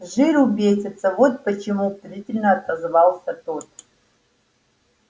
с жиру бесятся вот почему презрительно отозвался тот